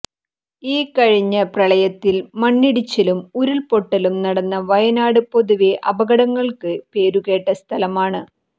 ഈ കഴിഞ്ഞ പ്രളയത്തിൽ മണ്ണിടിച്ചിലും ഉരുൾപൊട്ടലും നടന്ന വയനാട് പൊതുവെ അപകടങ്ങൾക്ക് പേരുകേട്ട സ്ഥലമാണ്